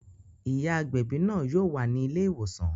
Ìyá agbẹ̀bí náà yóò wà ní ilé ìwòsàn